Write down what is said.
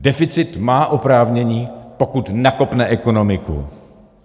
Deficit má oprávnění, pokud nakopne ekonomiku.